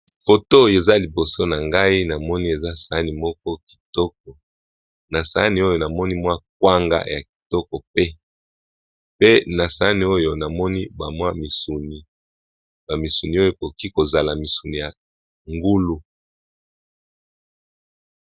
Foto Oyo eza liboso na ngai na moni Eza sahani Moko Kitoko na sahani Oyo na moni eza ba kwanga ya Kitoko pee na sahani Oyo ezaba misuni ya ngulu